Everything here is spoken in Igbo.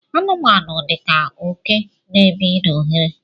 anụmanụ dika oke n'ebi n' oghere